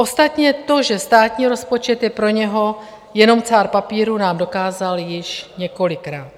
Ostatně to, že státní rozpočet je pro něho jenom cár papíru, nám dokázal již několikrát.